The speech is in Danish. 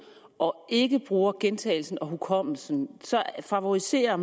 og ikke bruger gentagelsen og hukommelsen så favoriserer